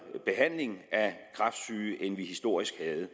behandling af kræftsyge end vi historisk havde